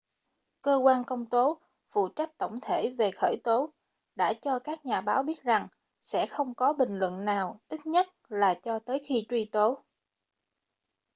cơ quan công tố phụ trách tổng thể về khởi tố đã cho các nhà báo biết rằng sẽ không có bình luận nào ít nhất là cho tới khi truy tố